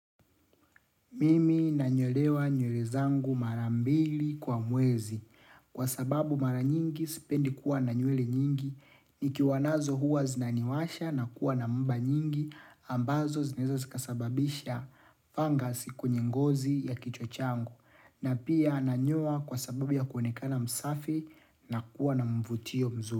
Mimi nanyolewa nywele zangu mara mbili kwa mwezi. Kwa sababu mara nyingi, sipendi kuwa na nywele nyingi. Nikiwa nazo huwa zinaniwasha na kuwa na mba nyingi, ambazo zinaeza zikasababisha fungus kwenye ngozi ya kichwa changu. Na pia nanyoa kwa sababu ya kuonekana msafi na kuwa na mvutio mzuri.